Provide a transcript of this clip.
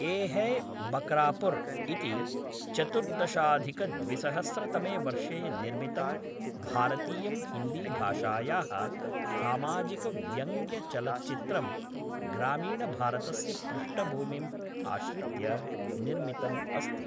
ये है बकरापुर् इति चतुर्दशाधिकद्विसहस्रतमे वर्षे निर्मितं भारतीयं हिन्दीभाषायाः सामाजिकव्यङ्ग्यचलच्चित्रं ग्रामीणभारतस्य पृष्ठभूमिम् आश्रित्य निर्मितम् अस्ति।